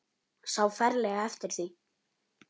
Sá ferlega eftir því.